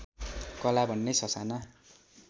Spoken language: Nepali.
कला भन्ने ससाना